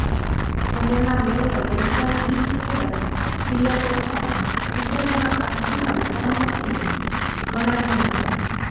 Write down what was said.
શહેરના mayor Lester E Taylor થ્રીએ પોતાના નિવેદનમાં આ ઘટનાને કમનસીબ ગણાવી હતી